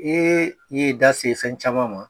Ee i ye da se fɛn caman ma.